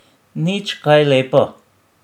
Nič kaj lepo.